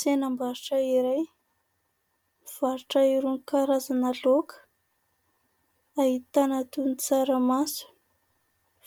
Tsenam-barotra iray, pivarotra irony karaza laoka. Ahitana toy ny tsaramaso,